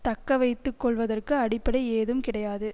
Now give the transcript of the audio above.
தக்கவைத்து கொள்வதற்கு அடிப்படை ஏதும் கிடையாது